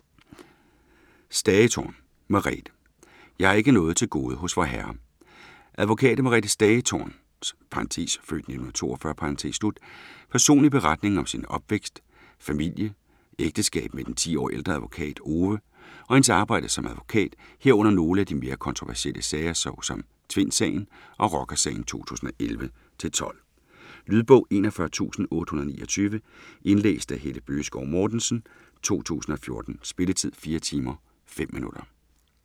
Stagetorn, Merethe: Jeg har ikke noget til gode hos Vorherre Advokat Merethe Stagetorns (f. 1942) personlige beretning om sin opvækst, familie, ægteskab med den 10 år ældre advokat Ove og hendes arbejde som advokat, herunder nogle af de mere kontroversielle sager så som Tvindsagen og Rockersagen 2011-12. Lydbog 41829 Indlæst af Helle Bøgeskov Mortensen, 2014. Spilletid: 4 timer, 5 minutter.